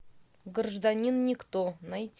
гражданин никто найти